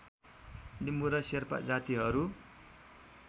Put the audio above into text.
लिम्बु र शेर्पा जातिहरू